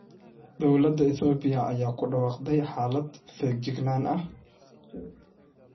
Dowladda Itoobiya ayaa ku dhawaaqday xaalad feejignaan ah